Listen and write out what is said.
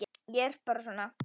Ég er bara svona.